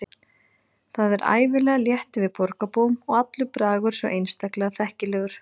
Það er ævinlega létt yfir borgarbúum og allur bragur svo einstaklega þekkilegur.